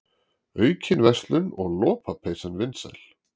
Aukin verslun og lopapeysan vinsæl